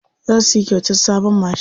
Za su yi kyautar sabon mashin.